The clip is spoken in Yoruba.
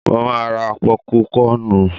Mo ma ra pọ́púkọnù.